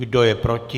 Kdo je proti?